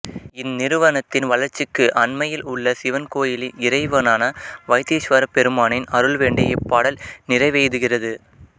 இந் நிறுவனத்தின் வளர்ச்சிக்கு அண்மையில் உள்ள சிவன் கோயிலின் இறைவனான வைத்தீஸ்வரப் பெருமானின் அருள் வேண்டி இப்பாடல் நிறைவெய்துகிறது